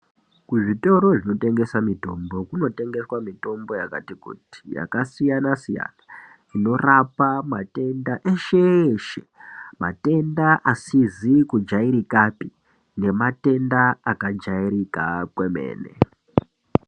Kuzvitoro zvinotengesa mitombo kunotengeswa mitombo yakati kuti yakasiyana siyana inorapa matenda eshe eshe matenda asizi kujairikapi nematenda akajairika kwemene.